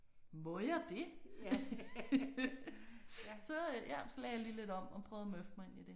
Må jeg det? Så øh ja så lagde jeg lige lidt om og prøvede at møffe mig ind i det